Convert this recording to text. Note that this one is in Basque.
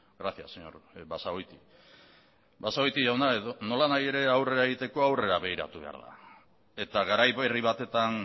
gracias señor basagoiti basagoiti jauna nolanahi ere aurrera egiteko aurrera begiratu behar da eta garai berri batetan